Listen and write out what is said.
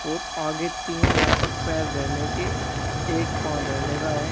और आगे तीन यहां पर पैर धरने के एक पांव धरने का है।